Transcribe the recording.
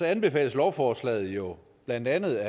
anbefales lovforslaget jo af blandt andet